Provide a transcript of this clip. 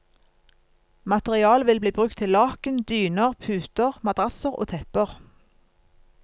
Materialet vil bli brukt til laken, dyner, puter, madrasser og tepper.